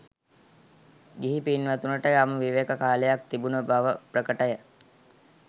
ගිහි පින්වතුනට යම් විවේක කාලයක් තිබුණු බව ප්‍රකටය.